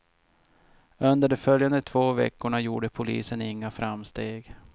Under de följande två veckorna gjorde polisen inga framsteg.